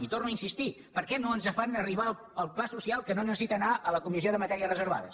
i hi torno a insistir per què no ens fan arribar el pla social que no necessita anar a la comissió de matèries reservades